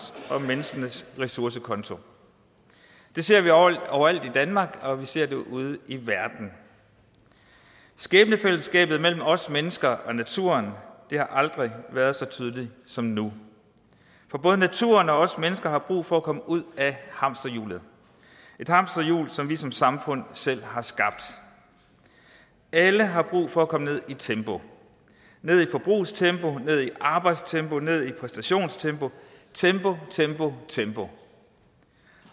og menneskenes ressourcekonto det ser vi overalt i danmark og vi ser det ude i verden skæbnefællesskabet mellem os mennesker og naturen har aldrig været så tydeligt som nu for både naturen og os mennesker har brug for at komme ud af hamsterhjulet et hamsterhjul som vi som samfund selv har skabt alle har brug for at komme ned i tempo ned i forbrugstempo ned i arbejdstempo ned i præstationstempo tempo tempo tempo